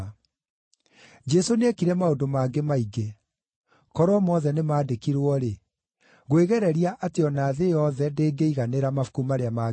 Jesũ nĩekire maũndũ mangĩ maingĩ. Korwo mothe nĩmandĩkirwo-rĩ, ngwĩgereria atĩ o na thĩ yothe ndĩngĩiganĩra mabuku marĩa mangĩandĩkwo.